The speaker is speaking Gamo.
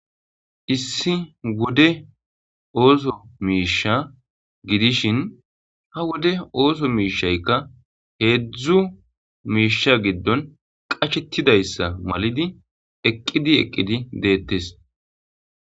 Issi wode oso misha hawode oso mishayika hzu misha gidon qashetidayisa malidi eqidi eqidi detes